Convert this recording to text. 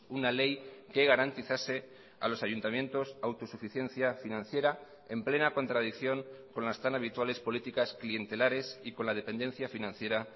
una ley que garantizase a los ayuntamientos autosuficiencia financiera en plena contradicción con las tan habituales políticas clientelares y con la dependencia financiera